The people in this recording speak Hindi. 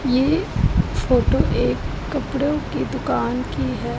ये फोटो एक कपड़ों की दुकान की है।